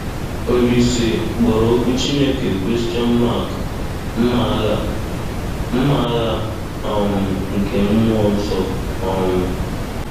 Olise kpọrọ okwu Chineke “mma agha “mma agha um nke mmụọ nsọ.” um